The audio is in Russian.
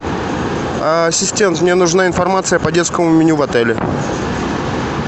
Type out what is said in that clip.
ассистент мне нужна информация по детскому меню в отеле